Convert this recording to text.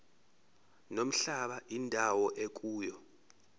nomhlaba indawo ekuyona